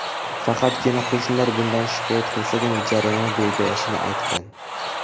Faqatgina qo‘shnilar bundan shikoyat qilsagina jarima belgilanishini aytgan.